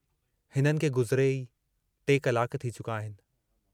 हिननि खे गुज़रिए ई टे कलाक थी चुका आहिनि।